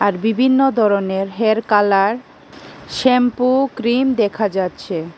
আর বিবিন্ন দরনের hair colour shampoo cream দেখা যাচ্ছে।